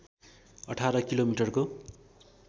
अठार किलोमिटरको